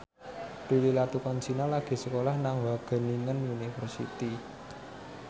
Prilly Latuconsina lagi sekolah nang Wageningen University